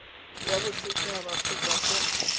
ya boset haba kgotsa fa